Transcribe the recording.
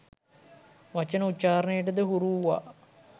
වචන උච්චාරණයට ද හුරු වූවා